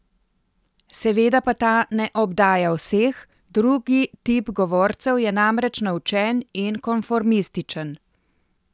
Seveda pa ta ne obdaja vseh, drugi tip govorcev je namreč naučen in konformističen.